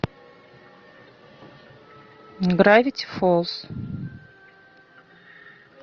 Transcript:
гравити фолз